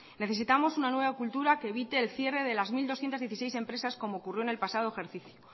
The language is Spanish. necesitamos una nueva cultura que evite el cierre de las mil doscientos dieciséis empresas como ocurrió en el pasado ejercicio